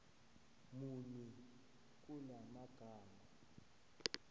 muni kula magama